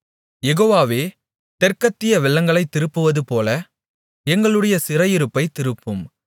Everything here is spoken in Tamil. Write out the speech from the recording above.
யெகோவாவே தெற்கத்திய வெள்ளங்களைத் திருப்புவதுபோல எங்களுடைய சிறையிருப்பைத் திருப்பும்